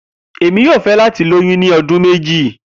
Emi yoo fẹ lati loyun ni ọdun meji.